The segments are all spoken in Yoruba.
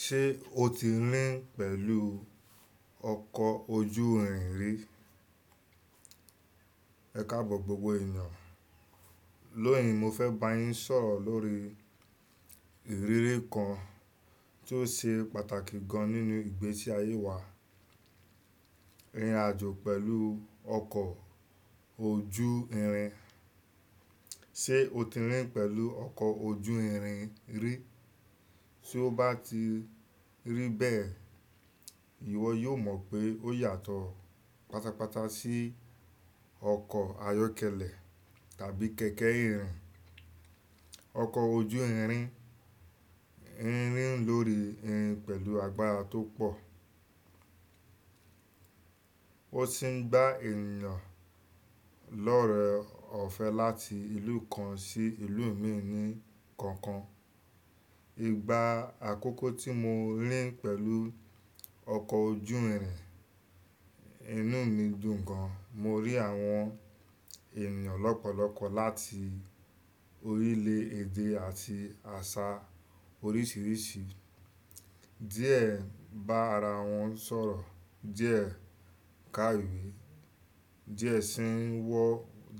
Ṣé o ti rìn pẹ̀lú ọkọ̀ ojú ìrìn ri? Ẹ káàbọ̀ gbogbo ènìyàn. Lónìí mo fẹ́ bá yín sọ̀rọ̀ lórí ìrírí kan tó ṣe pàtàkì gan nínú ìgbésí ayé wa, ìrìnàjò pẹ̀lú ọkọ̀ ojú ìrìn. Ṣé o ti rìn pẹ̀lú ọkọ̀ ojú ìrìn rí? Tí ó bá ti rí bẹ́ẹ̀, ìwọ yóò mọ̀ pé ó yàtọ̀ pátápátá sí ọkọ̀ ayọ́kẹ́lẹ̀ tàbí kẹ̀kẹ́ ìrìn. Ọkọ̀ ojú ìrìn ń rìn lórí ìrìn pẹ̀lú agbára tó pọ̀. Ó sì ń gba ènìyàn lọ́rẹ́ ọ̀fẹ́ láti ìlú kan sí ìlú mìíràn ní kankan. Ìgbà àkọ́kọ́ tí mo rìn pẹ̀lú ọkọ̀ ojú ìrìn, inú mi dùn gan. Mo rí àwọn ènìyàn lọ́pọ̀lọ́pọ̀ láti orílẹ̀ èdè àti àṣà oríṣìíríṣìí. Diẹ bá ara wọn sọ̀rọ̀, díẹ̀ ká ìwé,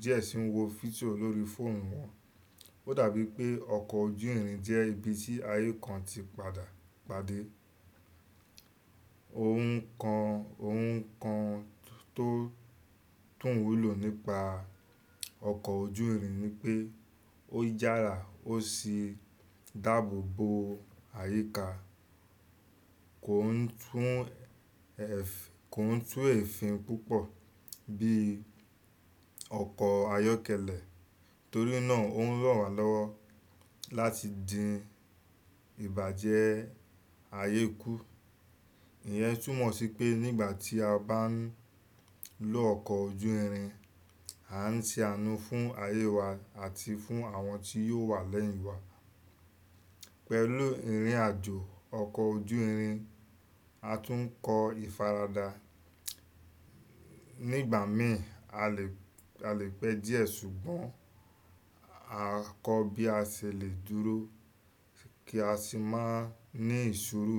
díẹ̀ sì ń wọ fídíò lórí fóònù wọn. Ó dàbí pé ọkọ̀ ojú ìrìn jẹ́ ibi tí ayé kan ti padà pade. Ohun kan, ohun kan tó tún wúlò nípa ọkọ̀ ojú ìrìn ni pé ó yára ó sì dáàbò bo àyíká. Kò ń tún ẹf-- kò ń tú èéfín púpọ̀ bí ọkọ̀ ayọ́kẹ́lẹ̀. Torí náà ó ń rọ̀ wá lọ́wọ́ láti dín ìbàjẹ́ ayé kù. Ìyẹn tún mọ̀ sí pé nígbà tí a bá ń lo ọkọ̀ ojú ìrìn, a ń ṣe àánú fún ayé wa àti fún àwọn tí yóò wà lẹ́yìn wa. Pẹ̀lú ìrìnàjò ọkọ̀ ojú ìrìn, a tún ń kọ ìfaradà. Nígbà mìíràn a lè, a lè pẹ́ díẹ̀ ṣùgbọ́n a kọ bí a ṣe lè dúró kí a sì má ní ìṣuru.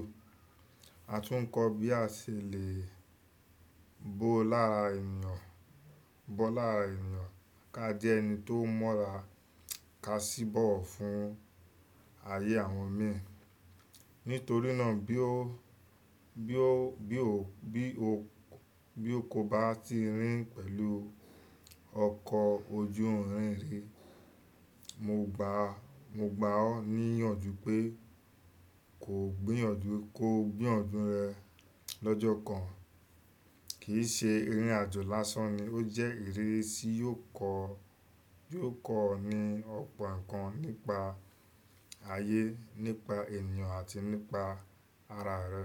A tún ń kọ bí a ṣe lè bó lára ènìyàn, bó lára ènìyàn ká jẹ́ ẹni tó mọ́ra, ká sì bọ̀wọ̀ fún ayé àwọn mìíràn. Nítorí náà bí o, bí o, bí o, bí o, bí o kò bá ti rìn pẹ̀lú ọkọ̀ ojú ìrìn rí, mo gbàá, mo gbàoá ní ìyànjú pé ko gbéyànju, ko gbéyànju rẹ lọ́jọ́ kan. Kì í ṣe ìrìnàjò lásán ni, ó jẹ́ ìrírí tí yóò kọ́, yóò kọ́ ọ ní ọ̀pọ̀ ǹkan nípa ayé, nípa ènìyàn àti nípa ara rẹ.